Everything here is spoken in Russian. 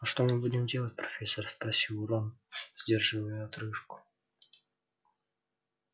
а что мы будем делать профессор спросил рон сдерживая отрыжку